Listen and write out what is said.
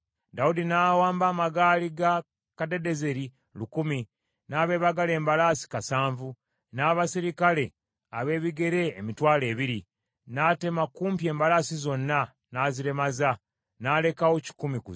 Dawudi n’awamba amagaali ga Kadadezeri lukumi, n’abeebagala embalaasi kasanvu, n’abaserikale ab’ebigere emitwalo ebiri. N’atema kumpi embalaasi zonna, n’azilemaza n’alekawo kikumi ku zo.